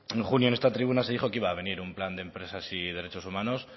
en junio en esta tribuna se dijo que iba a venir un plan de empresas y derechos humanos